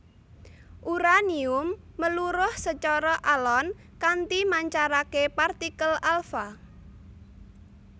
Uraanium meluruh sacara alon kanti mancaraké partikel alfa